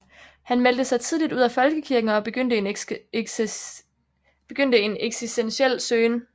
Han meldte sig tidligt ud af folkekirken og begyndte en eksistentiel søgen